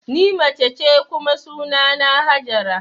Ni mace ce kuma sunana Hajara